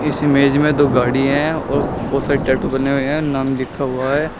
इस इमेज में दो गाड़ी है और बहोत सारे टैटू बने हुए हैं नाम लिखा हुआ है।